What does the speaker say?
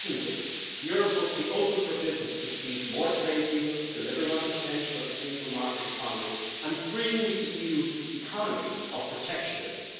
Secondly, Europe must be open for business, which means more trade deals, delivering on the potential of the single market economy and freeing the EU economy of protectionism.